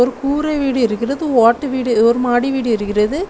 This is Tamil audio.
ஒரு கூரை வீடு இருக்கிறது ஓட்டு வீடு ஒரு மாடி வீடு இருக்கிறது.